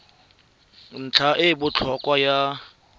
ntlha e e botlhokwa ya